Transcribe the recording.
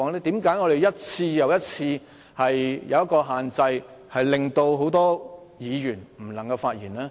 為何你一次又一次設下限制，令很多議員無法發言呢？